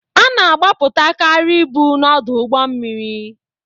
Ana agbapụtakari ibu na-ọdụ ụgbọ mmiri.